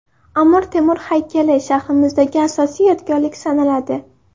Amir Temur haykali shahrimizdagi asosiy yodgorlik sanaladi.